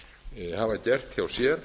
norðmenn hafa gert hjá sér